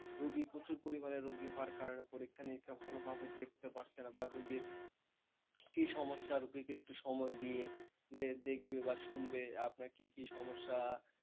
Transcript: রুগী প্রচুর পরিমাণে রুগী হওয়ার কারণে পরীক্ষানিরীক্ষা ভালোভাবে দেখতে পারছেনা, বা রুগীর কি সমস্যা, রুগীকে একটু সময় দিয়ে যে দেখবে বা শুনবে আপনার কি কি সমস্যা,